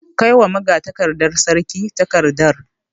Kai wa magatakardar sarki takardar.